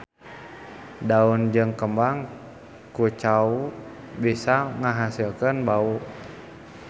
Daun jeung kembang kucau bisa ngahasilkeun bau.